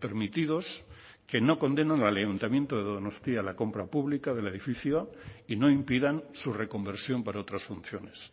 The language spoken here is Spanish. permitidos que no condenan al ayuntamiento de donostia la compra pública del edificio y no impidan su reconversión para otras funciones